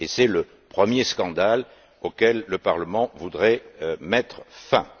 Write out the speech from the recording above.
C'est le premier scandale auquel le Parlement souhaite mettre fin.